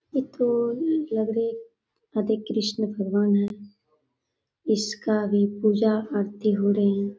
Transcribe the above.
ये तो लग रही राधे कृष्ण भगवान हैं इसका भी पूजा आरती हो रही।